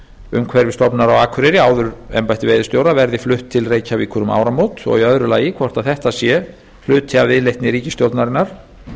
umhverfisstofnunar á akureyri áður embætti veiðistjóra verði flutt til reykjavíkur um áramót og í öðru lagi hvort þetta sé hluti af viðleitni ríkisstjórnarinnar